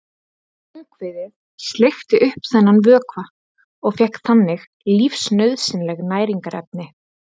Ungviðið sleikti upp þennan vökva og fékk þannig lífsnauðsynleg næringarefni.